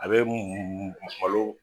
A be malo